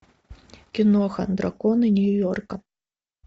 киноха драконы нью йорка